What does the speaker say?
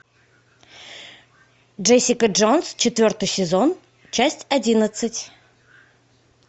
джессика джонс четвертый сезон часть одиннадцать